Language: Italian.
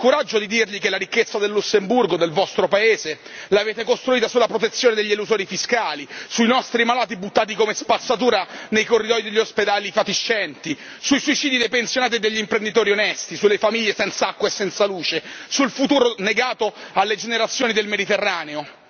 Ha il coraggio di dirgli che la ricchezza del Lussemburgo, del vostro Paese, l'avete costruita sulla protezione degli elusori fiscali, sui nostri malati buttati come spazzatura nei corridoi degli ospedali fatiscenti, sui suicidi dei pensionati e degli imprenditori onesti, sulle famiglie senza acqua e senza luce, sul futuro negato alle generazioni del Mediterraneo?